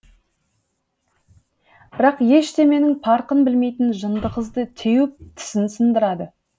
бірақ ештеменің парқын білмейтін жынды қызды теуіп тісін сындырады